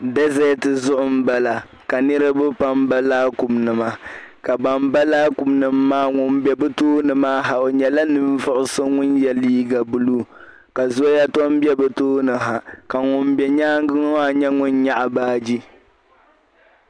dezeeti zuɣu m-bala ka niriba pam ba laakumnima ka ban ba laakumnima ŋun be bɛ tooni maa ha o nyɛla ninvuɣu so ŋun ye liiga buluu zɔya tɔ m-be bɛ tooni ha ka ŋun be nyaaŋga ŋɔ maa nyɛ ŋun 'nyaɣi baaji